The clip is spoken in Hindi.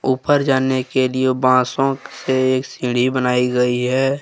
ऊपर जाने के लिए बांसों से एक सीढ़ी बनाई गई है।